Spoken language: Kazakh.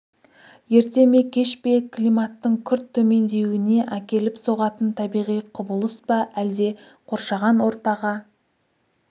ерте ме кеш пе климаттың күрт төмендеуіне әкеліп соғатын табиғи құбылыс па әлде қоршаған ортаға